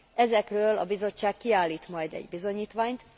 Ezekről a Bizottság kiállít majd egy bizonyítványt.